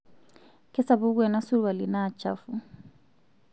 kasapuk ena surwali naa chafu